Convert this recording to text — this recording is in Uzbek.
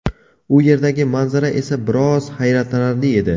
U yerdagi manzara esa biroz hayratlanarli edi.